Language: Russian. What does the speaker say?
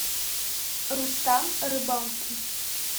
рустам рыбалкин